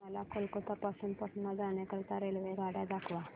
मला कोलकता पासून पटणा जाण्या करीता रेल्वेगाड्या दाखवा